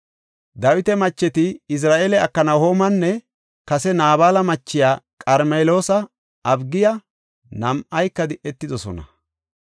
Dawita macheti Izira7eele Aknahoomanne kase Naabala machiya Qarmeloosa Abigiya nam7ayka di7etidosona.